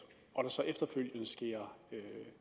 og der så efterfølgende sker